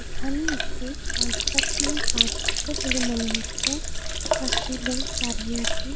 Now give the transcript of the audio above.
এখানে একটি কন্সট্রাকশন -এর কাজ হচ্ছে বলে মনে হচ্ছে চারটে লোক দাঁড়িয়ে আছে।